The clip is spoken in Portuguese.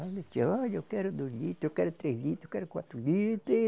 Olha, eu quero dois litros, eu quero três litros, eu quero quatro litros.